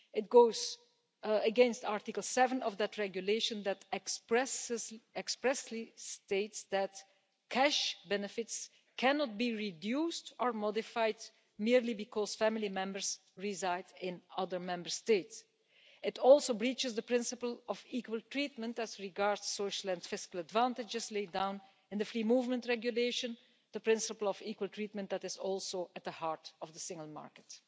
It also goes against Article 7 of that Regulation, which expressly states that cash benefits cannot be reduced or modified merely because family members reside in other Member States. It also breaches the principle of equal treatment as regards social and fiscal advantages laid down in the Free Movement Regulation the principle of equal treatment that is also at the heart of the single market.